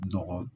Dɔgɔ